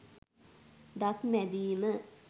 දත් මැදීම